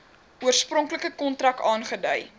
oorspronklike kontrak aangedui